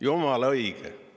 Jumala õige!